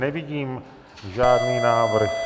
Nevidím žádný návrh.